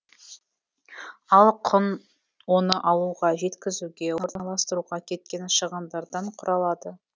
ал құн оны алуға жеткізуге орналастыруға кеткен шығындардан құралады